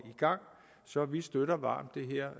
gang så vi støtter varmt det her